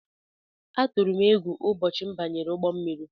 Atụrụ m égwu ụbọchị m banyere ụgbọ mmiri.